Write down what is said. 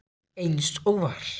Eins og var.